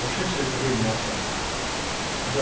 вообще всё это время молчал да